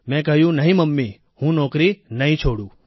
મેં કહ્યું નહીં મમ્મી હું નોકરી નહીં છોડું